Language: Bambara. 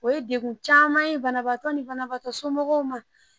O ye degun caman ye banabagatɔ ni banabagatɔ somɔgɔw ma